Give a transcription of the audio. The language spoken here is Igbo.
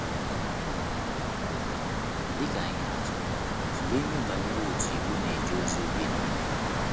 Dị ka ihe atụ, tụlee ihe banyere otu Igbo na - eje ozi oge nile.